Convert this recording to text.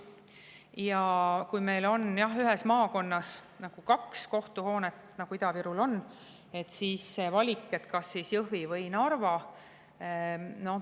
Ja kui meil on ühes maakonnas kaks kohtuhoonet, nagu Ida-Virumaal on, siis on valik, kas Jõhvi või Narva.